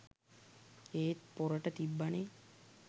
ඒත් පොරට තිබ්බනෙ